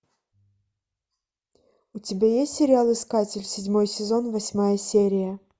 у тебя есть сериал искатель седьмой сезон восьмая серия